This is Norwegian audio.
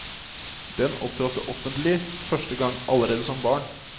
Den opptrådte offentlig første gang allerede som barn.